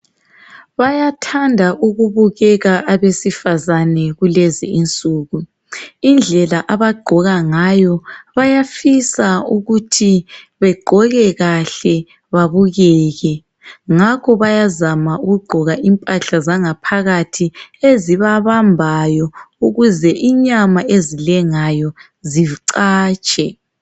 Bayathanda ukubukeka abesifazane kulezi insuku. Indlela abagqoka ngayo bayafisa ukuthi begqoke kahle babukeke. Ngakho bayazama ukugqoka impahla zangaphakathi ezibabambayo ukuze inyama ezilengayo zicatshe.